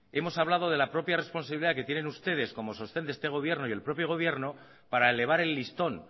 hemos hablado de la propia responsabilidad que tienen ustedes como sostén de este gobierno y el propio gobierno para elevar el listón